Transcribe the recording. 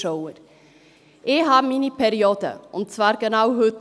Ich habe meine Periode, und zwar genau heute.